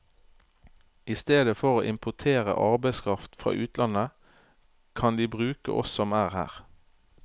I stedet for å importere arbeidskraft fra utlandet, kan de bruke oss som er her.